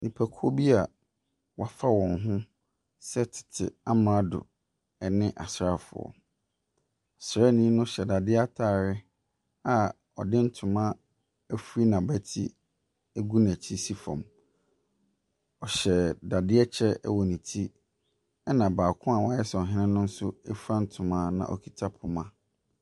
Nnipakuo bia wɔafa wɔn ho sɛ tete amrado ɛne asrafoɔ. Ɔsranii no hyɛ dadeɛ ataade a ɔde ntoma ɛfiri n'abati egu n'akyi si fam. Ɔhyɛ dadeɛ kyɛ wɔ ne ti ɛna baako woayɛ sɛ ɔhene no nso afura ntoma na ɔkuta poma.